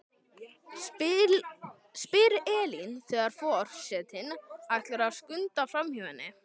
spyr Elín þegar for- setinn ætlar að skunda framhjá henni.